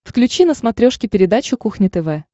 включи на смотрешке передачу кухня тв